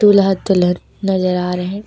दूल्हा दुल्हन नजर आ रहे--